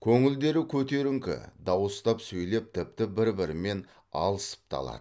көңілдері көтеріңкі дауыстап сөйлеп тіпті бір бірімен алысып та алады